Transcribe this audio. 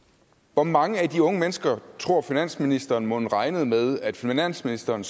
hvor mange af de unge mennesker tror finansministeren mon regnede med at finansministeren